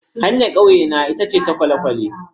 Hanyar kauyena ita ce ta kwale-kwale.